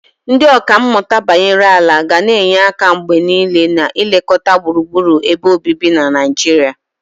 Ndị ọkà mmụta banyere ala ga na-enye aka mgbe niile na ilekọta gburugburu ebe obibi na Naijiria.